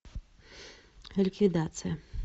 ликвидация